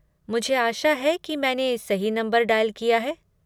मुझे आशा है कि मैंने सही नंबर डायल किया है।